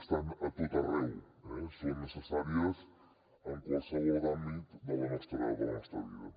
estan a tot arreu eh són necessàries en qualsevol àmbit de la nostra vida